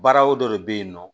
Baara o dɔ de bɛ yen nɔ